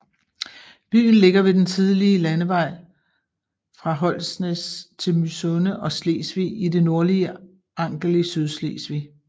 Byen ligger ved den tidligere landevej fra Holnæs til Mysunde og Slesvig i det nordlige Angel i Sydslesvig